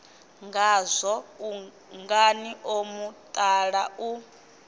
ngazwo ungani o mutala u